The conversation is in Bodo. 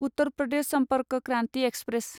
उत्तर प्रदेश सम्पर्क क्रान्ति एक्सप्रेस